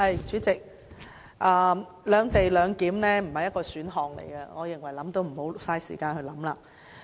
主席，"兩地兩檢"不是一種選項，我認為也不要浪費時間去想了。